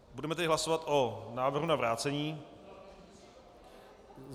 Budeme tedy hlasovat o návrhu na vrácení.